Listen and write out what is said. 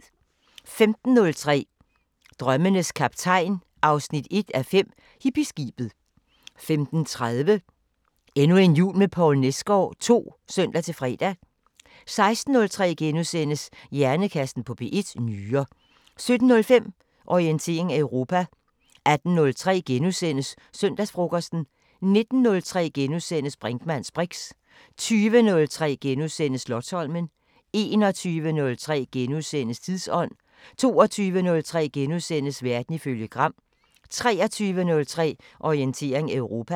15:03: Drømmenes Kaptajn 1:5 – Hippieskibet 15:30: Endnu en jul med Poul Nesgaard II (søn-fre) 16:03: Hjernekassen på P1: Nyrer * 17:05: Orientering Europa 18:03: Søndagsfrokosten * 19:03: Brinkmanns briks * 20:03: Slotsholmen * 21:03: Tidsånd * 22:03: Verden ifølge Gram * 23:03: Orientering Europa